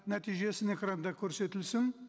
нәтижесі экранда көрсетілсін